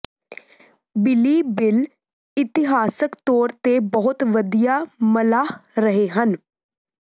ਬਿਲੀਬਿਲ ਇਤਿਹਾਸਕ ਤੌਰ ਤੇ ਬਹੁਤ ਵਧੀਆ ਮਲਾਹ ਰਹੇ ਹਨ